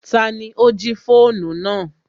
Tani ó jí fóònù náà